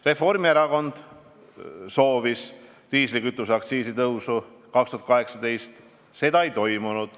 Reformierakond soovis diislikütuseaktsiisi tõusu aastal 2018, seda ei toimunud.